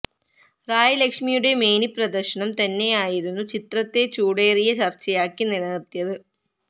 റായ് ലക്ഷ്മിയുടെ മേനി പ്രദർശനം തന്നെയായിരുന്നു ചിത്രത്തെ ചൂടേറിയ ചർച്ചയാക്കി നിലനിർത്തിയത്